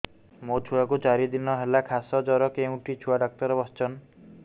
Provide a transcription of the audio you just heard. ମୋ ଛୁଆ କୁ ଚାରି ଦିନ ହେଲା ଖାସ ଜର କେଉଁଠି ଛୁଆ ଡାକ୍ତର ଵସ୍ଛନ୍